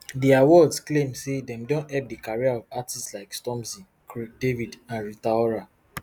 di awards claim say dem don help di career of artistes like stormzy craig david and rita ora